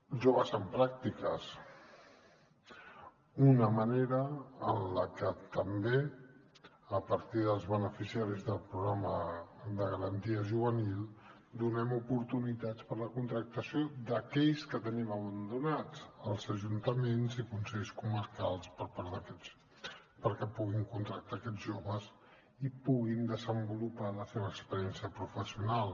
joves en pràctiques una manera en la que també a partir dels beneficiaris del programa de garantia juvenil donem oportunitats per a la contractació d’aquells que tenim abandonats als ajuntaments i consells comarcals per part d’aquests perquè puguin contractar aquests joves i puguin desenvolupar la seva experiència professional